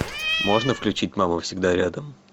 можно включить мама всегда рядом